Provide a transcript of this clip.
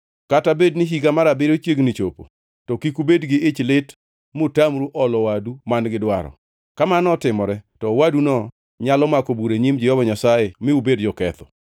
Kata bedni higa mar abiriyo chiegni chopo to kik ubed gi ich lit mutamru olo owadu man-gi dwaro. Ka mano otimore, to owaduno nyalo mako bura e nyim Jehova Nyasaye mi ubed joketho.